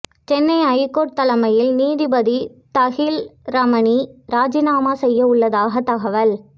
Chennai high court தலைமை நீதிபதி தகில் ரமானி ராஜினாமா செய்ய உள்ளதாக தகவல்